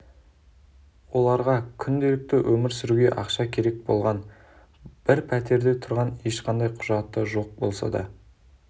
оларға күнделікті өмір сүруге ақша керек болған олар бір пәтерде тұрған ешқандай құжаты жоқ болса да